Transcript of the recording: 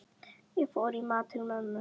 Ég fór í mat til mömmu.